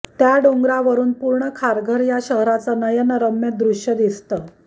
त्या डोंगरावरुन पूर्ण खारघर या शहराचं नयनरम्य दृश्य दिसतं